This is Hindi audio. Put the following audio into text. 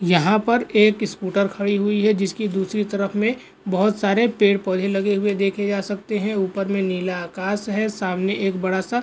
यहाँ पर एक स्कूटर खड़ी हुई है जिसकी दूसरी तरफ में बहुत सारे पेड़-पौधे लगे हुए देखे जा सकते हैं ऊपर में नीला आकास है सामने एक बड़ा सा --